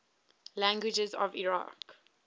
languages of iraq